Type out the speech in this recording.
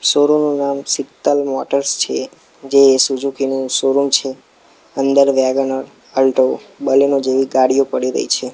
Showroom નું નામ Sheetal motors છે જે સુઝુકી નુ શોરૂમ છે અંદર વેગેનાર અલ્ટો બલેનો જેવી ગાડીઓ પડી રહી છે.